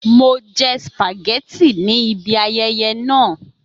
Mo jẹ spaghetti ni ibi ayẹyẹ naa